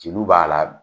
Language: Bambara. Jeliw b'a la